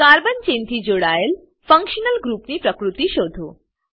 carbon ચેનથી જોડાયેલ functional group ની પ્રકૃતિ શોધો